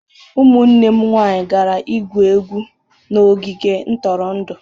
Ụmụ nwanne m nwanyị gara igwu egwu n'ogige ntụrụndụ.